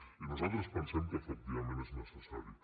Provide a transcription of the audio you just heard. i nosaltres pensem que efectivament és necessari